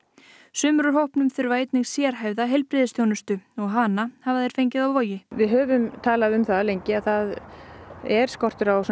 sumir úr hópnum þurfa einnig sérhæfða heilbrigðisþjónustu hana hafa þeir fengið á Vogi við höfum talað um það lengi að það er skortur á